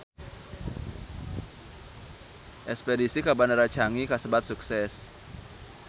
Espedisi ka Bandara Changi kasebat sukses